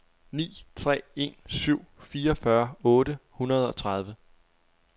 ni tre en syv fireogfyrre otte hundrede og tredive